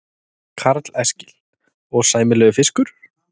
Karl Eskil: Og sæmilegur fiskur?